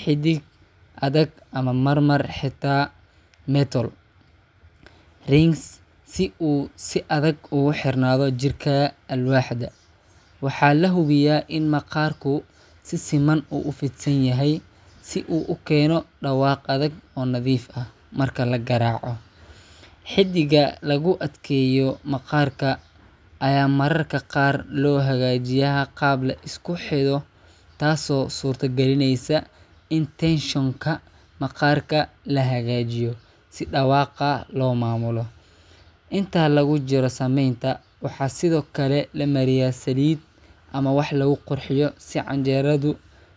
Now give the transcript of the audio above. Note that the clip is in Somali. xadhig adag ama marmar xitaa metal rings, si uu si adag ugu xirnaado jirka alwaaxda. Waxaa la hubiyaa in maqaarku si siman u fidsan yahay si uu u keeno dhawaaq adag oo nadiif ah marka la garaaco. Xadhigga lagu adkeeyo maqaarka ayaa mararka qaar loo hagaajiyaa qaab la isku xidho, taasoo suurto galinaysa in tension-ka maqaarka la hagaajiyo si dhawaaqa loo maamulo. Inta lagu jiro sameynta, waxaa sidoo kale la mariyaa saliid ama wax lagu qurxiyo si canjeradu.